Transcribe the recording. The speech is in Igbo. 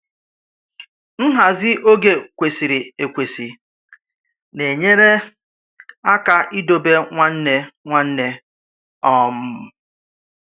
Nhazi oge kwesịrị ekwesị na-enyere aka idobe nwanne nwanne. um